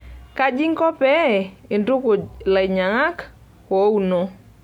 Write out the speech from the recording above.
Kaji inko pee intukuj lainyang'ak oouno?